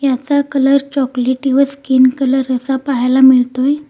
याचा कलर चॉकलेटी व स्किन कलर असा पाहायला मिळतोय.